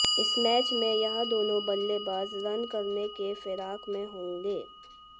इस मैच में यह दोनों बल्लेबाज रन करने की फिराक में होंगे